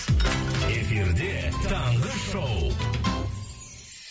эфирде таңғы шоу